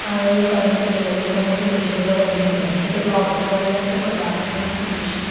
Current తీగలు కూడా మనకి దృశ్యంలో కనిపిస్తున్నది. అలాగే లోపలికి వెళ్లడానికి కూడా మనకి దృశ్యంలో కనిపి --